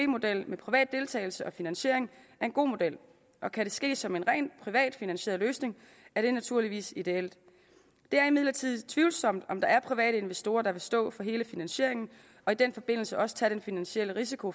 model med privat deltagelse og finansiering er en god model kan det ske som en rent privat finansieret løsning er det naturligvis ideelt det er imidlertid tvivlsomt om der er private investorer der vil stå for hele finansieringen og i den forbindelse også tage den finansielle risiko